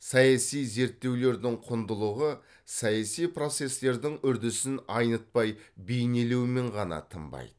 саяси зерттеулердің құндылығы саяси процестердің үрдісін айнытпай бейнелеумен ғана тынбайды